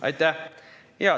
Aitäh!